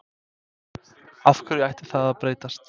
Af hverju ætti það að breytast?